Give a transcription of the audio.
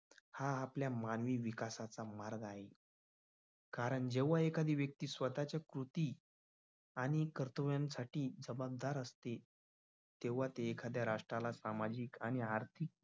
हा आपल्या मानवी विकासाचा मार्ग आहे. कारण जेव्हा एखादी व्यक्ती स्वतःच्या स्फूर्ती आणि कर्तव्यासाठी जबाबदार असते. तेव्हा ती एखाद्या राष्ट्राला सामाजिक आणि आर्थिक